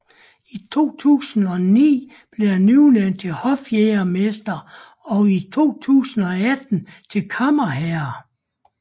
I 2009 blev han udnævnt til hofjægermester og i 2018 til kammerherre